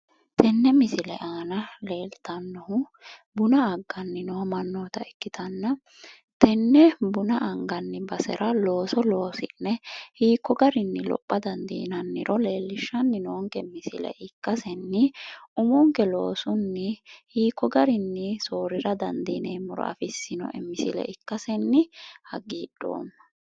Tenne misile aana leeltannohu buna agganni noo mannoota ikkitanna tenne buna anganni basera looso loosi'ne hiikko garinni lopha dandiinanniro leellishshanni noonke misile ikkasenni umonke loosunni hiikko garinni soorrira dandiineemmoro afissinoe misile ikkasenni hagiidhoomma.